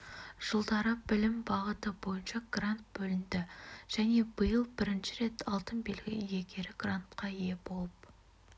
жылдары білім бағыты бойынша грант бөлінді және биыл бірінші рет алтын белгі иегері грантқа ие болып